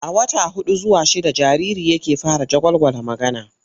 A wata huɗu zuwa shidda jariri yake fara jagwalgwala magana.